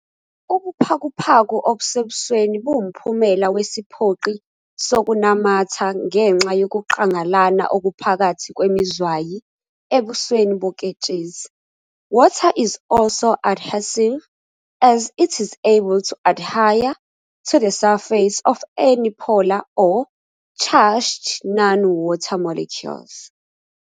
Ubuphakuphaku obusebusweni buwumphumela wesiphoqi sokunamatha ngenxa yokuqalangana okuphakathi kwemizwayi ebusweni boketshezi. Water is also adhesive as it is able to adhere to the surface of any polar or charged non-water molecules.